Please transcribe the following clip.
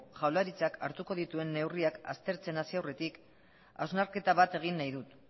jaurlaritzak hartuko dituen neurriak aztertzen hasi aurretik hausnarketa bat egin nahi dut